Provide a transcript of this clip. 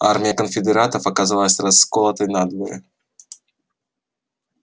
армия конфедератов оказалась расколотой надвое